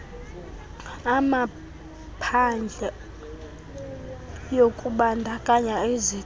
amaphadle yokubandakanya iziqalo